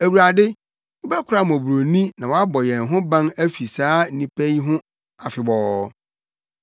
Awurade, wobɛkora mmɔborɔni na woabɔ yɛn ho ban afi saa nnipa yi ho afebɔɔ.